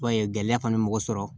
Ba ye gɛlɛya fana ye mɔgɔ sɔrɔ